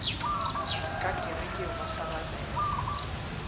ka kerekeng ba sa rapela